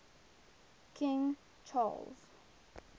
king charles